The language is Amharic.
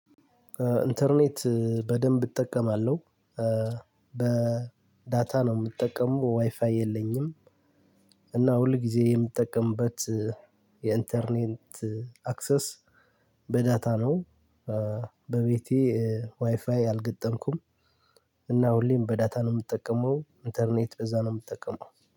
ኢንተርኔት በደንብ እጠቀማለሁ። በዳታ ነው የምጠቀመው ዋይፋይ የለኝም። እና ሁል ጊዜ የምጠቀምበት የኢንተርኔት አክሰስ በዳታ ነው። በቤቴ ዋይፋይ አልገጠምኩም። እና ሁሌም በዳታ ነው የምጠቀመው ኢንተርኔት በዛ ነው የምጠቀመው።